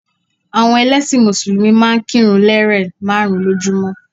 Àwọn ẹlẹ́sìn mùsùlùmí máa n kírun lérè máàrún lójúmó